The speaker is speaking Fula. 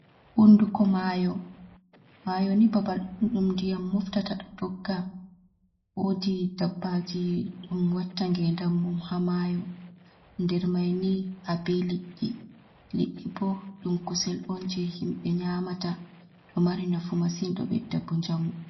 Hunduko mayo, mayo ni babal ɗuddum ndiyam moftata ɗo dogga wodi dabbaji ɗum watta ngedam mum ha mayo, nder maini ha be liɗi liɗɗi bo ɗum kusel on je himbe nyamata ɗo mari nafu masin ɗo ɓedda bo njamu.